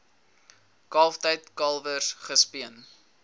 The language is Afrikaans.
kalftyd kalwers gespeen